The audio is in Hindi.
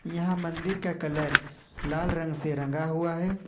यहां मंदिर का कलर लाल रंग से रंगा हुआ है।